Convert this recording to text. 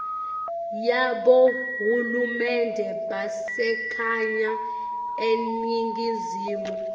yabohulumende basekhaya eningizimu